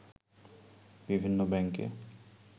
বিভিন্ন ব্যাংকে